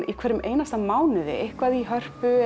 í hverjum einasta mánuði eitthvað í Hörpu